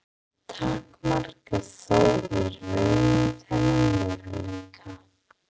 takmarka þó í raun þennan möguleika.